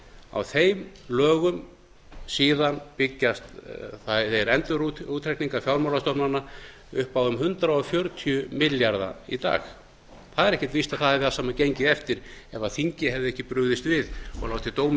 á þeim lögum síðan byggjast þeir endurútreikninga fjármálastofnana upp á um hundrað fjörutíu milljarða í dag það er ekki víst að það hefði allt saman gengið eftir ef þingið hefði ekki brugðist við og látið dóminn